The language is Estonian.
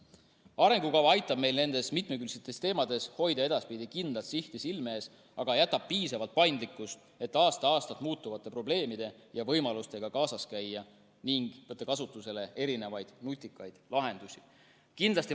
Arengukava aitab meil nendes mitmekülgsetes teemades hoida edaspidi kindlat sihti silme ees, aga jätab piisavalt paindlikkust, et aasta-aastalt muutuvate probleemide ja võimalustega kaasas käia ning võtta kasutusele erinevaid nutikaid lahendusi.